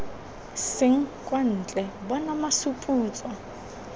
seng kwa ntle bona masuputso